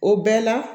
O bɛɛ la